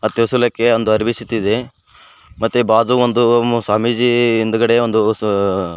ದೇವಸ್ಥಾನಕ್ಕೆ ಒಂದು ಅರವಿ ಸುತ್ತಿದೆ ಮತ್ತು ಬಾಜು ಒಂದು ಸ್ವಾಮಿಜಿ ಹಿಂದ್ಗಡೆ ಒಂದು ಸಾ--